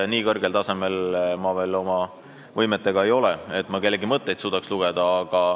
Nii kõrgel tasemel ma oma võimetega veel ei ole, et kellegi mõtteid suudaks lugeda.